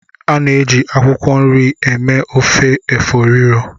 A na-eji akwụkwọ nri eme ofe efo riro.